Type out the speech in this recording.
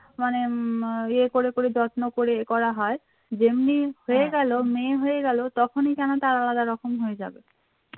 মানে উম ইয়ে করে করে যত্ন করে করা হয় যেমনি হয়ে গেল মেয়ে হয়ে গেল তখনই কেন তার আলাদা রকম হয়ে যাবে